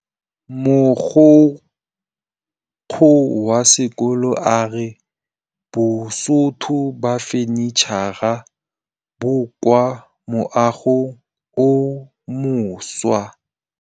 Mogokgo wa sekolo a re bosutô ba fanitšhara bo kwa moagong o mošwa.